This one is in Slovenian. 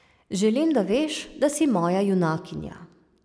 Želim, da veš, da si moja junakinja.